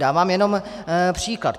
Dávám jenom příklad.